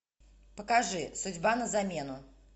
покажи судьба на замену